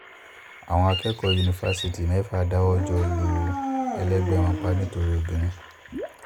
àwọn akẹ́kọ̀ọ́ yunifásitì mẹ́fà dáwọ́ jọ lu ẹlẹgbẹ́ wọn pa nítorí obìnrin